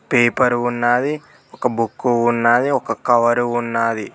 Paper ఉన్నాది ఒక book ఉన్నాది ఒక కవరు ఉన్నాది.